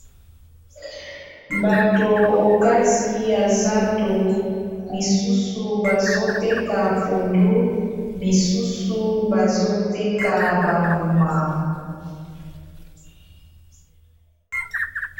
bato okati ya zando misusu bazoteka pondu misusu bazoteka bambuma